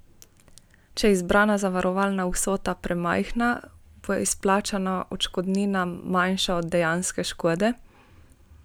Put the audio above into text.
Če je izbrana zavarovalna vsota premajhna, bo izplačana odškodnina manjša od dejanske škode.